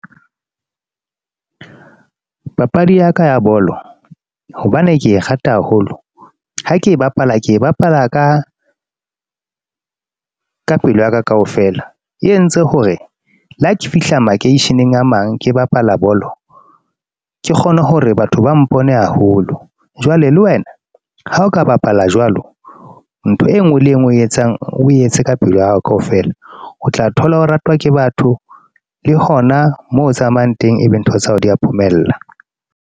Papadi ya ka ya bolo hobane ke e rata haholo ha ke e bapala ke e bapala ka pelo ya ka kaofela. E entse hore le ha ke fihla makeisheneng a mang ke bapala bolo ke kgone hore batho ba mpone haholo. Jwale le wena ha o ka bapala jwalo ntho e nngwe le e nngwe eo etsang oe etse ka pelo ya hao kaofela, o tla thola o ratwa ke batho le hona moo o tsamayang teng, ebe ntho tsa hao di a phomella.